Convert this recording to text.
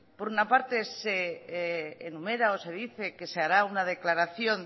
por una parte se enumera o se dice que se hará una declaración